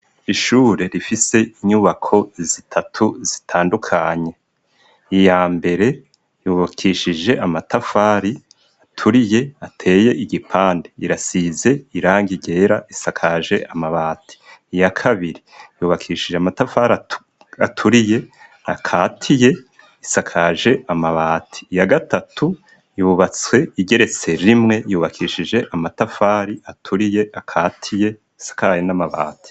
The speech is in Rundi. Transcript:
ishure rifise inyubako zitatu zitandukanye iya mbere yubakishije amatafari aturiye ateye igipande irasize irangi ryera isakaje amabati iya kabiri yubakishije amatafari aturiye akatiye isakaje amabati iya gatatu yubatswe igeretse rimwe yubakishije amatafari aturiye akatiye isakaye n'amabati